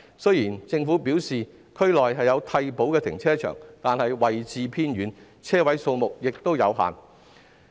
雖然政府表示區內有替補的停車場，但是位置偏遠，車位數目亦有限。